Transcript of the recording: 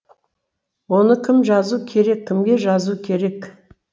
оны кім жазу керек кімге жазу керек